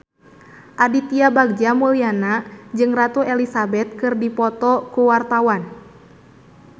Aditya Bagja Mulyana jeung Ratu Elizabeth keur dipoto ku wartawan